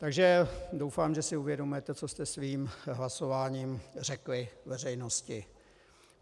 Takže doufám, že si uvědomujete, co jste svým hlasováním řekli veřejnosti.